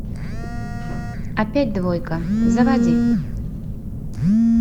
опять двойка заводи